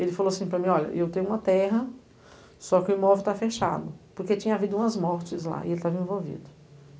Ele falou assim para mim, olha, eu tenho uma terra, só que o imóvel está fechado, porque tinha havido umas mortes lá e ele estava envolvido.